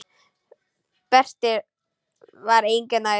Berti var engu nær.